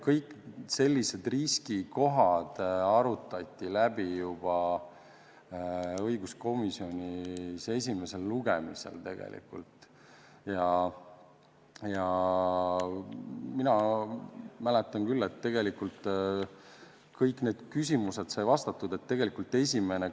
Kõik sellised riskikohad arutati õiguskomisjonis läbi juba esimesel lugemisel ja mina mäletan küll, et kõik need küsimused said vastatud.